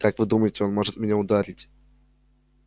как вы думаете он может меня ударить